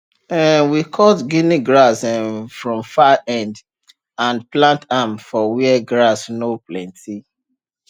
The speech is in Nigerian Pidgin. um we cut guinea grass um from far end and plant am for where grass no plenty